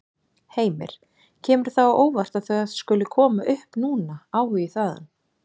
Heimir: Kemur það á óvart að það skuli koma upp núna, áhugi þaðan?